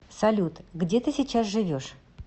салют где ты сейчас живешь